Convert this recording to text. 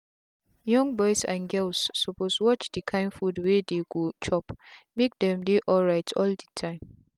young boys and girls suppose watch the kind food wey dey go chopmake them they alright all the time